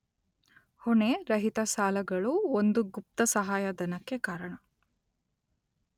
ಹೊಣೆ, ರಹಿತ ಸಾಲಗಳು ಒಂದು ಗುಪ್ತ ಸಹಾಯಧನಕ್ಕೆ ಕಾರಣ